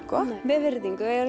með virðingu